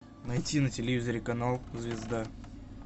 найти на телевизоре канал звезда